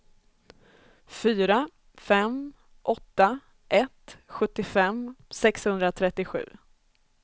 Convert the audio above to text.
fyra fem åtta ett sjuttiofem sexhundratrettiosju